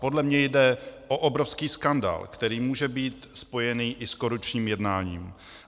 Podle mě jde o obrovský skandál, který může být spojený i s korupčním jednáním.